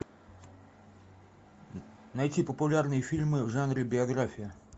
найти популярные фильмы в жанре биография